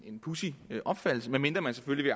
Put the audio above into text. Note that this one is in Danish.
en pudsig opfattelse medmindre man selvfølgelig